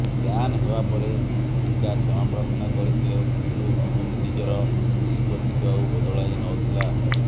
ban ହେବାପରେ ମିକା କ୍ଷମାପ୍ରାର୍ଥନା କରିଥିଲେ କିନ୍ତୁ କମିଟି ନିଜର ନିଷ୍ପତ୍ତିକୁ ଆଉ ବଦଳାଇନଥିଲା